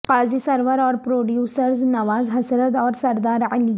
قاضی سرور اور پروڈیوسرز نواز حسرت اور سردار علی